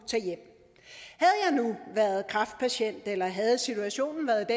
været kræftpatient eller havde situationen været